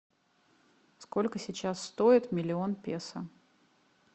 сколько сейчас стоит миллион песо